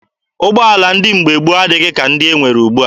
Ụgbọala ndị mgbe gboo adịghị ka ndị e nwere ugbua.